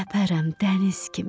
səpərəm dəniz kimi.